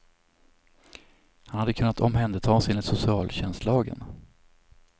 Han hade kunnat omhändertas enligt socialtjänstlagen.